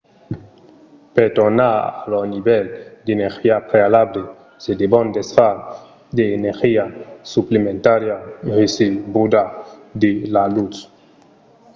per tornar a lor nivèl d’energia prealable se devon desfar de l’energia suplementària recebuda de la lutz